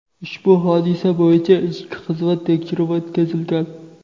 ushbu hodisa bo‘yicha ichki xizmat tekshiruvi o‘tkazilgan.